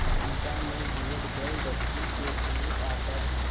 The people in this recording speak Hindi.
चंपा ने युवक जलदस्यु के समीप आकर